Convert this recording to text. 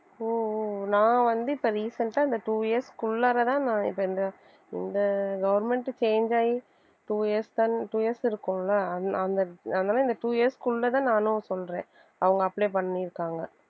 ஓ ஓ நான் வந்து இப்ப recent ஆ இந்த two years க்கு உள்ளாறதான் நான் இப்ப இந்த இந்த government change ஆயி two years தான் two years இருக்கும்ல அந்~ அந்த அதனால அந்த two years க்குள்ளதான் நானும் சொல்றேன் அவங்க apply பண்ணியிருக்காங்க